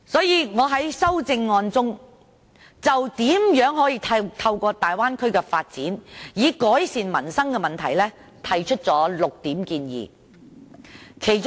因此，我在修正案中就如何透過大灣區的發展改善民生的問題，提出了6點建議。